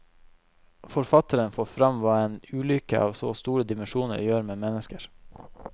Forfatteren får fram hva en ulykke av så store dimensjoner gjør med mennesker.